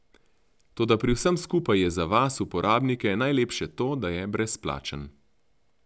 Toda pri vsem skupaj je za vas, uporabnike, najlepše to, da je brezplačen.